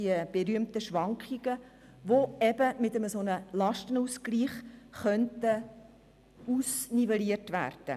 Diese berühmten Schwankungen könnten nun mit dem Lastenausgleich ausnivelliert werden.